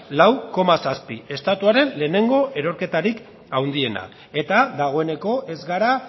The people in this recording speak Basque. lau koma zazpi estatuaren lehenengo erorketarik handiena eta dagoeneko ez gara